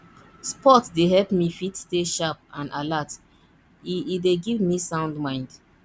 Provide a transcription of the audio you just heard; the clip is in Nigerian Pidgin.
sport dey help me fit stay sharp and alert e e dey give me sound mind